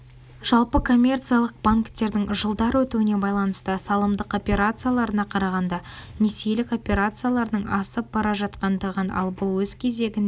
жалпы коммерциялық банктердің жылдар өтуіне байланысты салымдық операцияларына қарағанда несиелік операцияларының асып бара жатқандығын ал бұл өз кезегінде